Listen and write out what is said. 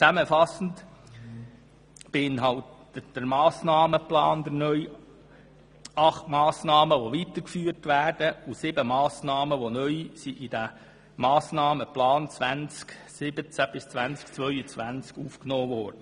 Zusammenfassend beinhaltet der neue Massnahmenplan acht weiterzuführende Massnahmen und sieben, die neu in diesen Massnahmenplan aufgenommen wurden.